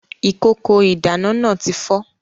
Ìkòkò ìdáná náà tí fọ́